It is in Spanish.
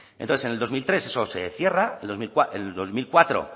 entonces en el dos mil tres eso se cierra el dos mil cuatro